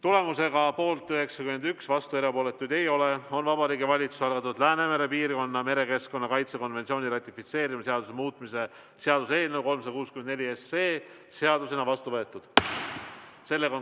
Tulemusega poolt 91, vastuolijaid ja erapooletuid ei ole, on Vabariigi Valitsuse algatatud Läänemere piirkonna merekeskkonna kaitse konventsiooni ratifitseerimise seaduse muutmise seaduse eelnõu 364 seadusena vastu võetud.